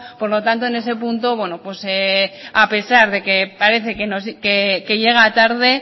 por lo tanto en ese punto bueno pues a pesar de que parece que llega tarde